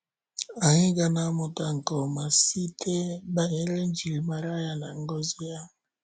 Anyị ga na-amụta nke ọma banyere njirimara ya na ngọzi ya.